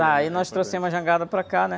Tá, aí nós trouxemos a jangada para cá, né?